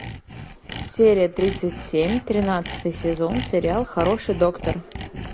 серия тридцать семь тринадцатый сезон сериал хороший доктор